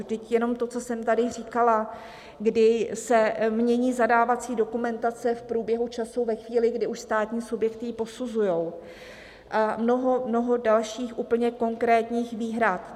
Vždyť jenom to, co jsem tady říkala, kdy se mění zadávací dokumentace v průběhu času, ve chvíli, kdy už státní subjekty ji posuzují, a mnoho dalších úplně konkrétních výhrad.